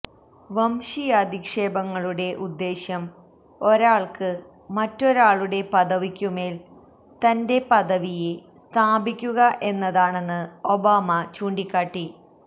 വംശീയാധിക്ഷേപങ്ങളുടെ ഉദ്ദേശ്യം ഒരാൾക്ക് മറ്റൊരാളുടെ പദവിക്കു മേൽ തന്റെ പദവിയെ സ്ഥാപിക്കുക എന്നതാണെന്ന് ഒബാമ ചൂണ്ടിക്കാട്ടി